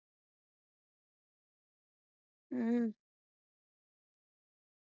ਅਮ